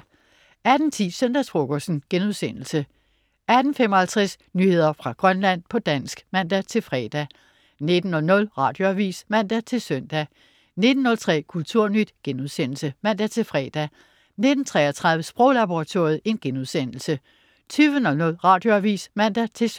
18.10 Søndagsfrokosten* 18.55 Nyheder fra Grønland på dansk (man-fre) 19.00 Radioavis (man-søn) 19.03 Kulturnyt* (man-fre) 19.33 Sproglaboratoriet* 20.00 Radioavis (man-søn)